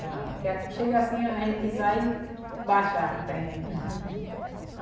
na. Porque aqui chega assim, a gente pisar e baixar o terreno.